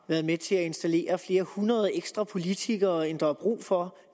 været med til at installere flere hundrede ekstra politikere end der er brug for